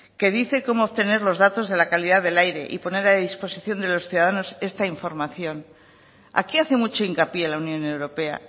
que dice cómo obtener los datos de la calidad del aire y poner a disposición de los ciudadanos esta información aquí hace mucho hincapié la unión europea